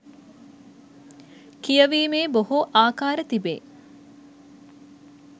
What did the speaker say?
කියවිමේ බොහෝ ආකාර තිබේ.